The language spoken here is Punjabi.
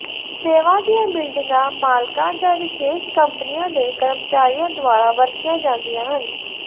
ਸੇਵਾ ਦੀਆਂ ਬਿਲਡਿੰਗਾਂ ਮਾਲਕਾਂ ਜਾਂ ਵਿਸ਼ੇਸ਼ ਕੰਪਨੀਆਂ ਦੇ ਕਰਮਚਾਰੀਆਂ ਦੁਆਰਾ ਵਰਤੀਆਂ ਜਾਂਦੀਆਂ ਹਨ